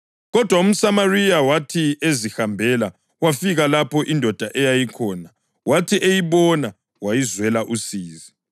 Kodwa umSamariya, wathi ezihambela wafika lapho indoda eyayikhona, wathi eyibona wayizwela usizi.